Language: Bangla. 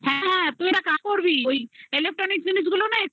হ্যাঁ হ্যাঁ তুই এটা কা করবি ওই electronic জিনিসগুলো না